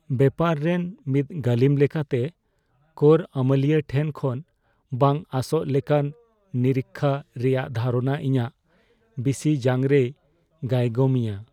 ᱵᱮᱯᱟᱨ ᱨᱮᱱ ᱢᱤᱫ ᱜᱟᱹᱞᱤᱢ ᱞᱮᱠᱟᱛᱮ, ᱠᱚᱨ ᱟᱹᱢᱟᱹᱞᱤᱭᱟᱹ ᱴᱷᱮᱱ ᱠᱷᱚᱱ ᱵᱟᱝ ᱟᱸᱥᱚᱜ ᱞᱮᱠᱟᱱ ᱱᱤᱨᱤᱠᱠᱷᱟ ᱨᱮᱭᱟᱜ ᱫᱷᱟᱨᱚᱱᱟ ᱤᱧᱟᱹᱜ ᱵᱤᱥᱤᱡᱟᱝᱨᱮᱭ ᱜᱟᱭᱜᱚᱢᱤᱧᱟ ᱾